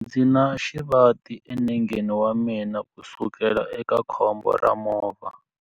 Ndzi na xivati enengeni wa mina kusukela eka khombo ra movha.